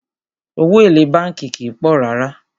Owó èlé bánkì kìí pọ̀ rárá.